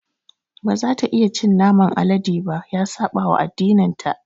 Ba za ta iya cin naman alade ba. Ya saɓawa addininta.